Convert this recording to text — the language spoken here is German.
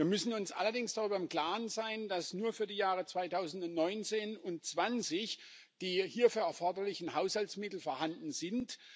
Wir müssen uns allerdings darüber im Klaren sein, dass nur für die Jahre 2019 und 2020 die hierfür erforderlichen Haushaltsmittel vorhanden sind.